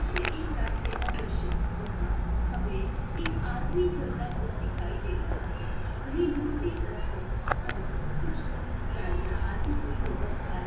इसे एक रास्ते का दृश्य है जहाँ हमें एक आदमी चलता हुआ दिखाई दे रहा है वहीं दूसरी तरफ से हमें कुछ गाड़ीयाँ आती हुई नजर आ रही--